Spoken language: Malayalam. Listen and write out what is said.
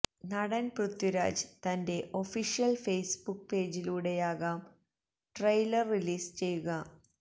നടന് പൃഥ്വിരാജ് തന്റെ ഒഫീഷ്യല് ഫെയ്സ്ബുക്ക് പേജിലൂടെയാകും ട്രെയിലര് റിലീസ് ചെയ്യുക